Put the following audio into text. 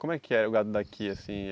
Como é que é o gado daqui, assim?